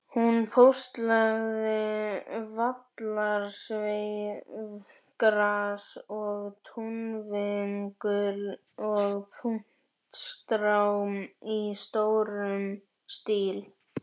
Hún póstlagði vallarsveifgras og túnvingul og puntstrá í stórum stíl.